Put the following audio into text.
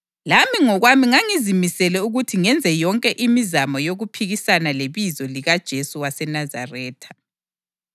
Lami ngokwami ngangizimisele ukuthi ngenze yonke imizamo yokuphikisana lebizo likaJesu waseNazaretha.